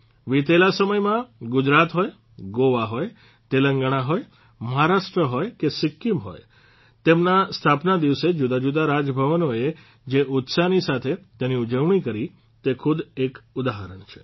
વિતેલા સમયમાં ગુજરાત હોય ગોવા હોય તેલંગણા હોય મહારાષ્ટ્ર હોય કે સિક્કિમ હોય તેમના સ્થાપના દિવસે જુદાજુદા રાજભવનોએ જે ઉત્સાહની સાથે તેની ઉજવણી કરી તે ખુદ એક ઉદાહરણ છે